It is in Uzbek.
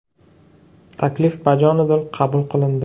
Taklif bajonidil qabul qilindi.